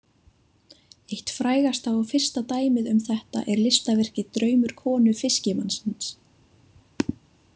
Eitt frægasta og fyrsta dæmið um þetta er listaverkið draumur konu fiskimannsins.